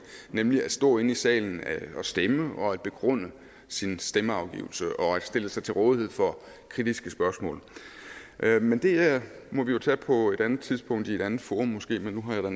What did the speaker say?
nemlig at stå inde i salen og stemme og at begrunde sin stemmeafgivelse og stille sig til rådighed for kritiske spørgsmål men det må vi jo tage på et andet tidspunkt i et andet forum måske man nu har